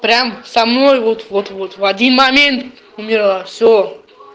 прям самой вот вот вот в один момент умерла всё